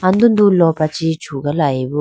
andudu lopra chee chugalayi bo.